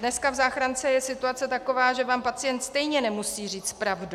Dneska v záchrance je situace taková, že vám pacient stejně nemusí říct pravdu.